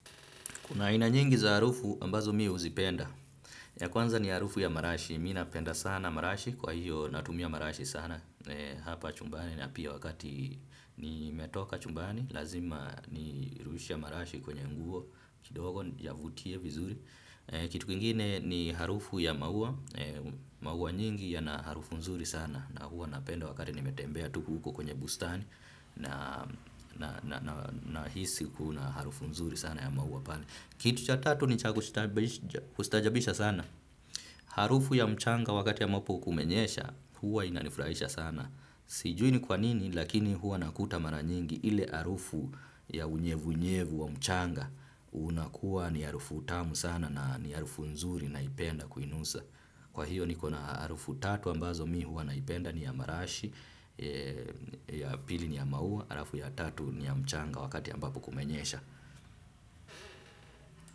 Kuna ina nyingi za harufu ambazo mi uzipenda. Ya kwanza ni harufu ya marashi. Mi napenda sana marashi. Kwa hiyo natumia marashi sana hapa chumbani. Napia wakati nimetoka chumbani. Lazima ni rushe marashi kwenye nguo. Kidogo niyavutie vizuri. Kitu kingine ni harufu ya maua. Maua nyingi yana harufu nzuri sana. Na huwa napenda wakati nimetembea tu huko kwenye bustani. Nahisi kuna harufu nzuri sana ya maua pale. Kitu cha tatu ni cha kustaajabisha sana. Harufu ya mchanga wakati ya ambapo kumenyesha, huwa inanifurahisha sana. Sijui ni kwa nini, lakini huwa nakuta mara nyingi. Ile harufu ya unyevu unyevu wa mchanga unakuwa ni harufu tamu sana na ni harufu nzuri naipenda kuinusa. Kwa hiyo niko na harufu tatu ambazo mi huwa naipenda ni ya marashi, ya pili ni ya maua, alafu ya tatu ni ya mchanga wakati ambapo kumenyesha.